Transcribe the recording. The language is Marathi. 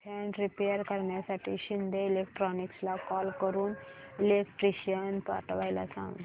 फॅन रिपेयर करण्यासाठी शिंदे इलेक्ट्रॉनिक्सला कॉल करून इलेक्ट्रिशियन पाठवायला सांग